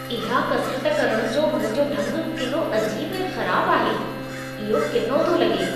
इहा कसिरत करण जो हुन जो ढंग केॾो अजीब ऐं ख़राब आहे। इहो किनो थो लॻे।